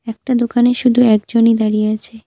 একটা দোকানে শুধু একজনই দাঁড়িয়ে আছে।